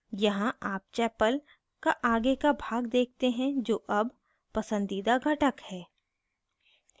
यहाँ आप chapel का आगे का भाग देखते हैं जो अब पसंदीदा घटक है